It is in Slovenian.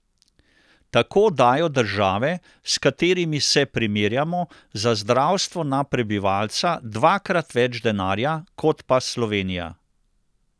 Tako dajo države, s katerimi se primerjamo, za zdravstvo na prebivalca dvakrat več denarja kot pa Slovenija.